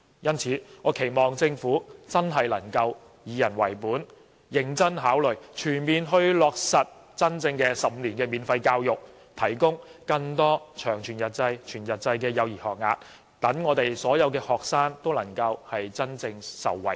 因此，我期望政府真的能夠以人為本，認真考慮全面落實真正的15年免費教育，提供更多全日制及長全日制的幼稚園學額，讓所有學生都能夠真正受惠。